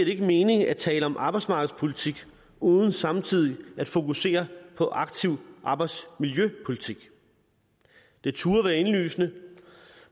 ikke mening at tale om arbejdsmarkedspolitik uden samtidig at fokusere på aktiv arbejdsmiljøpolitik det turde være indlysende